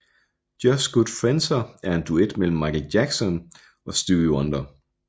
Just Good Friendser en duet mellem Michael Jackson og Stevie Wonder